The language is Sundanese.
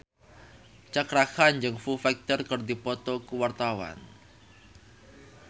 Cakra Khan jeung Foo Fighter keur dipoto ku wartawan